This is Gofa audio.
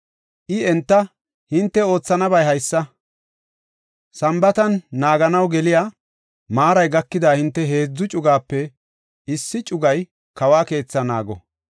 I enta, “Hinte oothanabay haysa; Sambaatan naaganaw geliya maaray gakida hinte heedzu cugaape issi cugaa kawa keethaa naago.